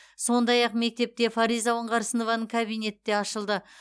сондай ақ мектепте фариза оңғарсынованың кабинеті де ашылды